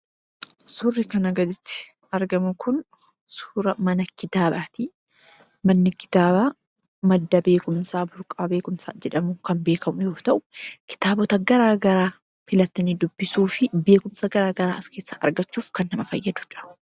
Suurri kanaa gaditti argamu kun suura mana kitaabaati. Manni kitaabaa madda beekumsaa burqaa beekumsaa jedhamuun kan beekamu yoo ta'u, kitaabota garaagaraa filatanii dubbisuu fi beekumsa garaagaraa as keessaa argachuuf kan nama fayyadu dha.